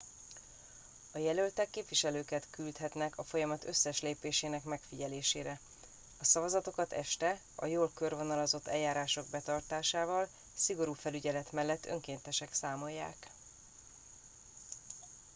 a jelöltek képviselőket küldhetnek a folyamat összes lépésének megfigyelésére a szavazatokat este a jól körvonalazott eljárások betartásával szigorú felügyelet mellett önkéntesek számolják